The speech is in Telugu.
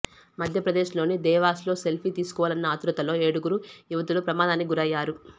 మధ్యప్రదేశ్లోని దేవాస్లో సెల్ఫీ తీసుకోవాలన్న ఆతృతలో ఏడుగురు యువతులు ప్రమాదానికి గురయ్యారు